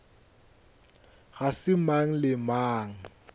ga se mang le mang